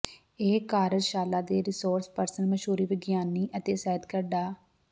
ਇਸ ਕਾਰਜਸ਼ਾਲਾ ਦੇ ਰਿਸੋਰਸ ਪਰਸਨ ਮਸ਼ਹੂਰ ਵਿਗਿਆਨੀ ਅਤੇ ਸਾਹਿਤਕਾਰ ਡਾ